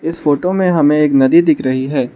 इस फोटो में हमें एक नदी दिख रही है।